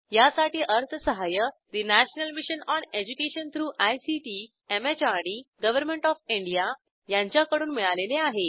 यासाठी अर्थसहाय्य national mission on education through ICT MHRD government of India यांच्याकडून मिळालेले आहे